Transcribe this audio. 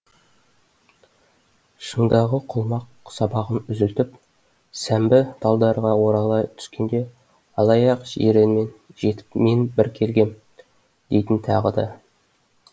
шыңдағы құлмақ сабағын үзілтіп сәмбі талдарға орала түскенде алаяқ жиренмен жетіп мен бір келгем дейтін тағы да